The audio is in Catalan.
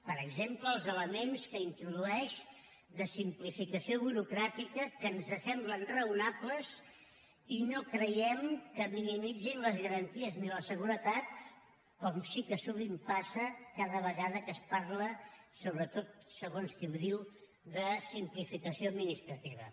per exemple els elements que introdueix de simplificació burocràtica que ens semblen raonables i no creiem que minimitzin les garanties ni la seguretat com sí que sovint passa cada vegada que es parla sobretot segons qui ho diu de simplificació administrativa